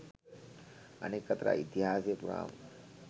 අනෙක් අතට ඉතිහාසය පුරාම